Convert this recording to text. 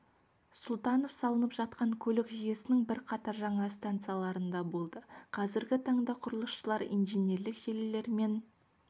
сұлтанов салынып жатқан көлік жүйесінің бірқатар жаңа станцияларында болды қазіргі таңда құрылысшылар инженерлік желілер мен